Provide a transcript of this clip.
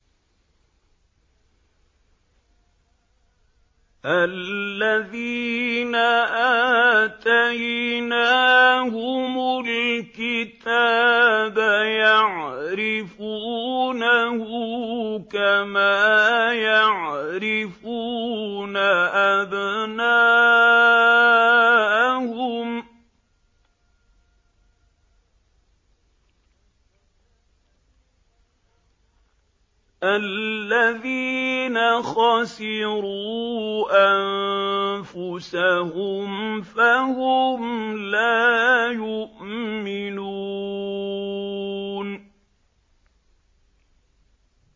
الَّذِينَ آتَيْنَاهُمُ الْكِتَابَ يَعْرِفُونَهُ كَمَا يَعْرِفُونَ أَبْنَاءَهُمُ ۘ الَّذِينَ خَسِرُوا أَنفُسَهُمْ فَهُمْ لَا يُؤْمِنُونَ